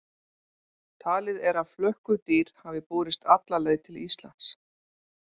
Talið er að flökkudýr hafi borist alla leið til Íslands.